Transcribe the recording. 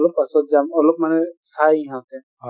অলপ পাছত যাম , অলপ মানে চাই সিহঁতে,